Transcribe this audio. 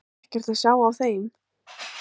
Hugrún Halldórsdóttir: Ekkert að sjá á þeim?